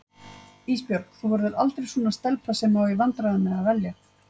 Ísbjörg þú verður aldrei svona stelpa sem á í vandræðum með að velja.